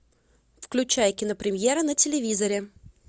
включай кинопремьера на телевизоре